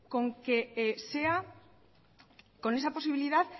con que sea con esa posibilidad